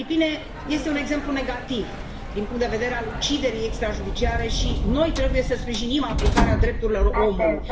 Filipine este un exemplu negativ din punctul de vedere al uciderii extrajudiciare și noi trebuie să sprijinim aplicarea drepturilor omului.